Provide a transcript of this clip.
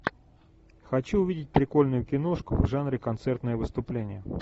хочу увидеть прикольную киношку в жанре концертное выступление